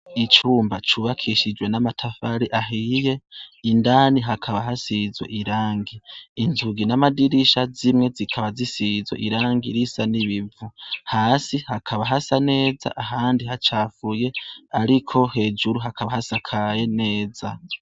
Icumba cubakishijwe n'amatafari ahiye indani hakaba hasizwe irangi inzugi n'amadirisha zimwe zikaba zisizwe irangi risa n'ibivu hasi hakaba hasa neza ahandi hacafuye ariko hejuru hakaba hasakaye neza.